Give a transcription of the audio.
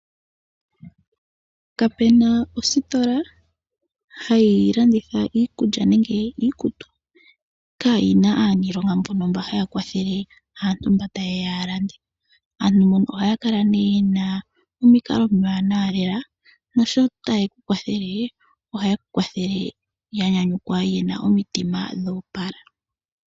Kapena ositola hayi landitha iikulya nenge iikutu yaana aaniilonga yokukwathela aantu mboka taa landa. Ohaa kala nee yena omikalo omiwanawa naasho taye ku kwathele ohaye kukwathele yanyanyukwa yena omitima dhoopala.